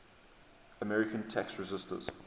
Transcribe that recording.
american tax resisters